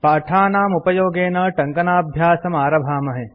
पाठानाम्पुपयोगेन टङ्कनाभ्यासम् आरभामहे